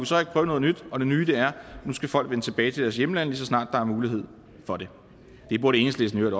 så ikke prøve noget nyt og det nye er at nu skal folk vende tilbage til deres hjemland lige så snart der er mulighed for det det burde enhedslisten